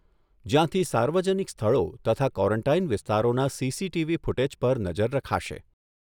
જ્યાંથી સાર્વજનિક સ્થળો તથા ક્વોરેન્ટાઇન વિસ્તારોના સીસીટીવી ફૂટેજ પર નજર રખાશે.